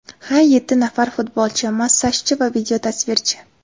Ha, yetti nafar futbolchi, massajchi va videotasvirchi.